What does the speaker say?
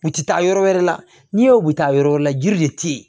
U tɛ taa yɔrɔ wɛrɛ la n'i ye u bɛ taa yɔrɔ wɛrɛ jiri de tɛ yen